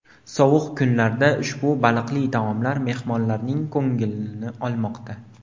Sovuq kunlarda ushbu baliqli taomlar mehmonlarning ko‘nglini olmoqda.